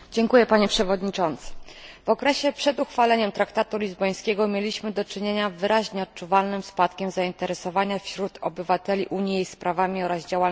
W okresie przed uchwaleniem traktatu lizbońskiego mieliśmy do czynienia z wyraźnie odczuwalnym spadkiem zainteresowania wśród obywateli Unii jej sprawami oraz działalnością.